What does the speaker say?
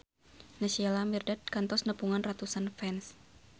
Naysila Mirdad kantos nepungan ratusan fans